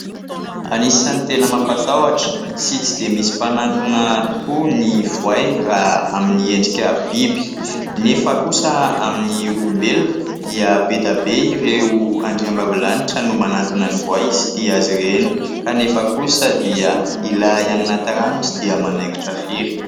Anisan'ny tena mampatahotra sy tsy dia misy mpanatona tokoa ny voay raha amin'ny endrka biby. Nefa kosa amin'ny olombelona dia be dia be ireo andriambavilanitra no manatona ny voay sy tia azy ireny kanefa kosa dia ilay any anaty rano dia tsy dia manaikitra firy.